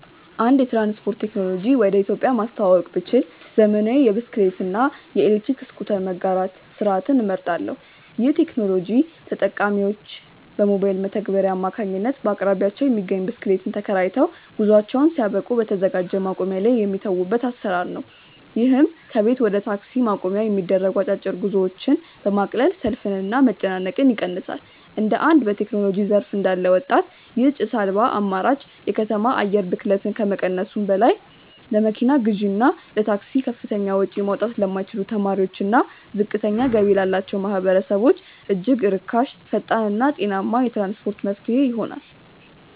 አዲስ የትራንስፖርት ቴክኖሎጂ ወደ ኢትዮጵያ ማስተዋወቅ ብችል፣ ዘመናዊ የብስክሌት እና የኤሌክትሪክ ስኩተር መጋራት ስርዓትን እመርጣለሁ። ይህ ቴክኖሎጂ ተጠቃሚዎች በሞባይል መተግበሪያ አማካኝነት በአቅራቢያቸው የሚገኝን ብስክሌት ተከራይተው፣ ጉዟቸውን ሲያበቁ በተዘጋጀ ማቆሚያ ላይ የሚተዉበት አሰራር ነው። ይህም ከቤት ወደ ታክሲ ማቆሚያ የሚደረጉ አጫጭር ጉዞዎችን በማቅለል ሰልፍንና መጨናነቅን ይቀንሳል። እንደ አንድ በቴክኖሎጂ ዘርፍ እንዳለ ወጣት፣ ይህ ጭስ አልባ አማራጭ የከተማ አየር ብክለትን ከመቀነሱም በላይ፣ ለመኪና ግዢና ለታክሲ ከፍተኛ ወጪ ማውጣት ለማይችሉ ተማሪዎችና ዝቅተኛ ገቢ ላላቸው ማህበረሰቦች እጅግ ርካሽ፣ ፈጣንና ጤናማ የትራንስፖርት መፍትሄ ይሆናል።